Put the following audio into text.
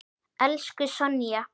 Elsku Sonja.